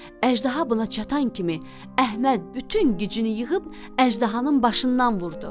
Əjdaha buna çatan kimi Əhməd bütün gücünü yığıb əjdahanın başından vurdu.